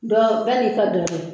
Dɔ bɛɛ n'i ka dɔ do